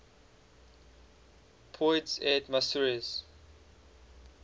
poids et mesures